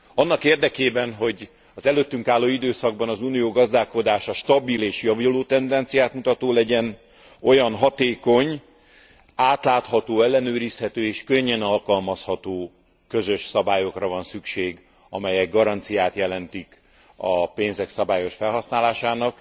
Annak érdekében, hogy az előttünk álló időszakban az Unió gazdálkodása stabil és javuló tendenciát mutató legyen, olyan hatékony, átlátható, ellenőrizhető és könnyen alkalmazható közös szabályokra van szükség, amelyek garanciát jelentenek a pénzek szabályos felhasználására,